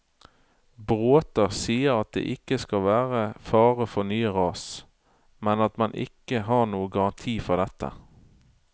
Bråta sier at det ikke skal være fare for nye ras, men at man ikke har noen garanti for dette.